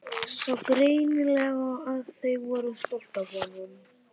Sá greinilega að þau voru stolt af honum.